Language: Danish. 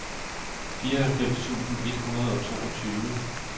fireoghalvfems tusind et hundrede og toogtyve